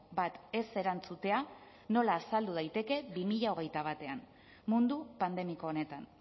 bat ez erantzutea nola azaldu daiteke bi mila hogeita batean mundu pandemiko honetan